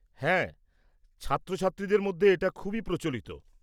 -হ্যাঁ, ছাত্রছাত্রীদের মধ্যে এটা খুবই প্রচলিত।